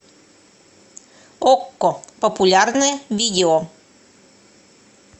окко популярное видео